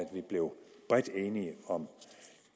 vi blev bredt enige om